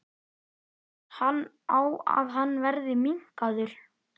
Fellst hann á að hann verði minnkaður?